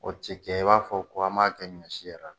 O tɛ kɛ i b'a fɔ ko an b'a kɛ ɲɔ si yɛrɛ la.